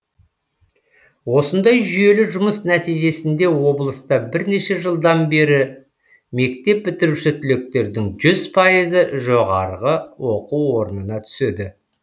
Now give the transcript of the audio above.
осындай жүйелі жұмыс нәтижесінде облыста бірнеше жылдан бері мектеп бітіруші түлектердің жүз пайызы жоғарғы оқу орнына түседі